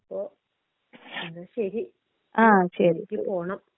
അപ്പോ എന്ന ശരി. എനിക്ക് പോണം.